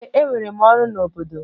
Ee, enwere m ọrụ n'obodo.